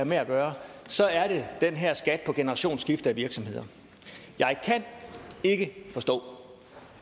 med at gøre så er det den her skat på generationsskifte af virksomheder jeg kan ikke forstå